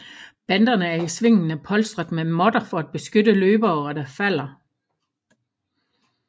Banderne er i svingene polstret med måtter for at beskytte løbere der falder